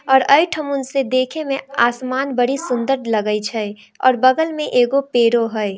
और आई थोमन से देखेमें आसमान बड़ी सुन्दर लगे छै और बगल में एगो पेड़ो है।